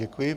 Děkuji.